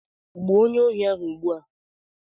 Gbuo onyeohi ahụ ugbu a!